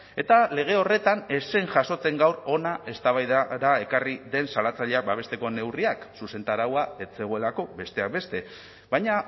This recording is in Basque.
eta lege horretan ez zen jasotzen gaur hona eztabaidara ekarri den salatzaileak babesteko neurriak zuzentaraua ez zegoelako besteak beste baina